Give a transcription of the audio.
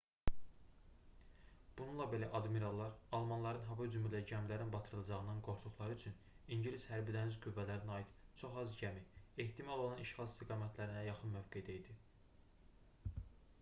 bununla belə admirallar almanların hava hücumu ilə gəmilərin batırılacağından qorxduqları üçün ingilis hərbi-dəniz qüvvələrinə aid çox az gəmi ehtimal olunan işğal istiqamətlərinə yaxın mövqedə idi